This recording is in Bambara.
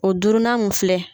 O durunnan mun filɛ